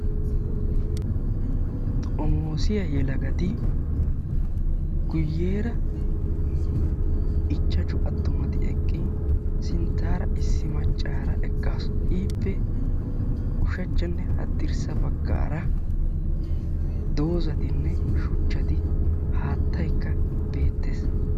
Xomoosiya yelagati guyyeera ichchashu attumati eqqin sinttaara Issi maccaara eqqaasu. Ippe ushachchanne haddirssa baggaara doozatinne shuchchati haattaykka beettes.